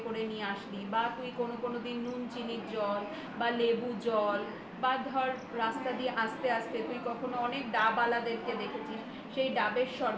নিয়ে আসলি বা তুই কোন কোন দিন চিনির জল বা লেবু জল বা ধর রাস্তা দিয়ে আস্তে আস্তে অনেক ডাবওয়ালাদের দেখেছিস সেই ডাবের শরবত